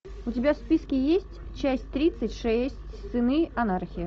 у тебя в списке есть часть тридцать шесть сыны анархии